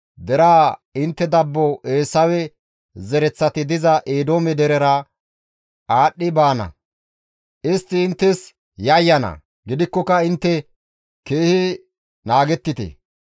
Deraa, ‹Intte dabbo Eesawe zereththati diza Eedoome derera aadhdhi baana; istti inttes yayyana; gidikkoka intte keehi naagettite.